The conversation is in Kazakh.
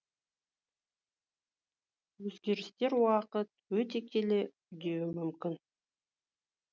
өзгерістер уақыт өте келе үдеуі мүмкін